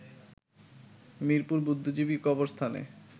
মিরপুর বুদ্ধিজীবী কবরস্থানে